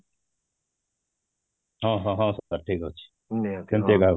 ହଁ, ହଁ ହଁ ଠିକ ଅଛି କିନ୍ତୁ ରାଗ